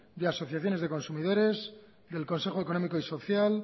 de asociaciones de consumidores del consejo económico y social